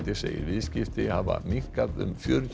segir viðskipti hafa minnkað um fjörutíu